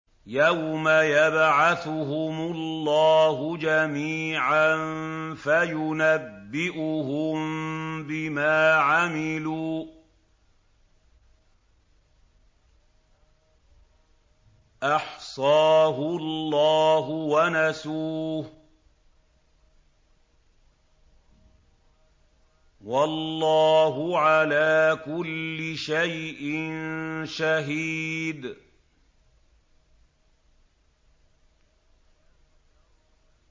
يَوْمَ يَبْعَثُهُمُ اللَّهُ جَمِيعًا فَيُنَبِّئُهُم بِمَا عَمِلُوا ۚ أَحْصَاهُ اللَّهُ وَنَسُوهُ ۚ وَاللَّهُ عَلَىٰ كُلِّ شَيْءٍ شَهِيدٌ